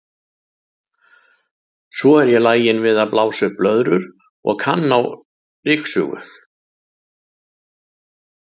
Svo er ég lagin við að blása upp blöðrur og og kann á ryksugu.